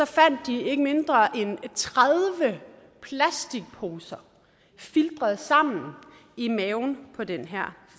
fandt de ikke mindre end tredive plastikposer filtret sammen i maven på den her